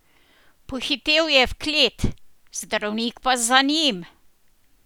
Pohitel je v klet, zdravnik pa za njim.